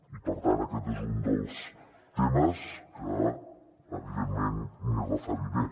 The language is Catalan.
i per tant aquest és un dels temes que evidentment m’hi referiré